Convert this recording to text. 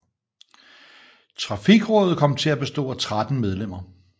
Trafikrådet kom til at bestå af 13 medlemmer